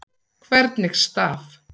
Hvernig staf